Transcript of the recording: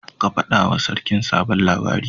Ka faɗa wa sarkin sabon labari